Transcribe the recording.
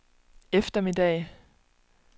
eftermiddag